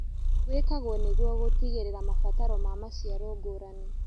wĩkagwo nĩguo gũtigĩrĩra mabataro ma maciaro ngũrani